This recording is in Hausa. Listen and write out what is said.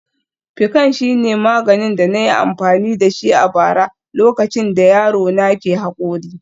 Piccan shine maganin da na yi amfani da shi a bara lokacin da yaro na ke haƙori